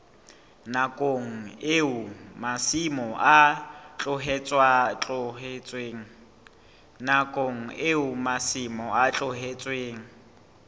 nakong eo masimo a tlohetsweng